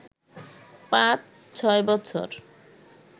পাঁচ-ছয় বছর